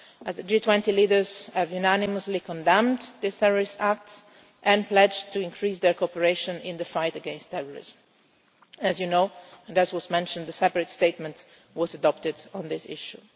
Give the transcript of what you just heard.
The G20 leaders have unanimously condemned these terrorist acts and pledged to increase their cooperation in the fight against terrorism. As you know and as was mentioned, a separate statement was adopted on this